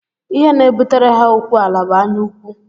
Ihe na-ebutere ha okuw ala bụ anyaụkwụ